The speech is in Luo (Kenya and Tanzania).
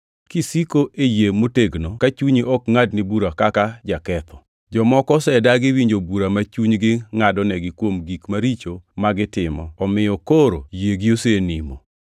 kisiko e yie motegno ka chunyi ok ngʼadni bura kaka jaketho. Jomoko osedagi winjo bura ma chunygi ngʼadonegi kuom gik maricho ma gitimo, omiyo koro yiegi osenimo.